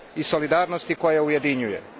i solidarnosti koja ujedinjuje.